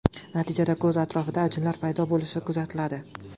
Natijada ko‘z atrofida ajinlar paydo bo‘lishi kuzatiladi.